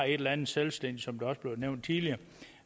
et eller andet selvstændigt som det også blev nævnt tidligere